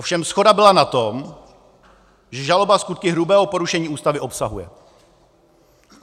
Ovšem shoda byla na tom, že žaloba skutky hrubého porušení Ústavy obsahuje.